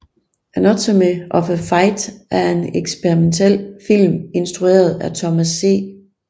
Anatomy of a fight er en eksperimentalfilm instrueret af Thomas C